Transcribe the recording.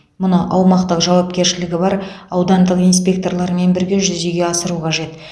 мұны аумақтық жауапкершілігі бар аудандық инспекторлармен бірге жүзеге асыру қажет